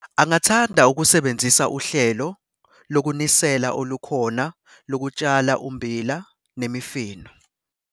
Angathanda ukusebenzisa uhlelo lokunisela olukhona lokutshala ummbila nemifino.